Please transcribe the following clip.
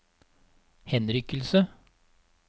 henrykkelse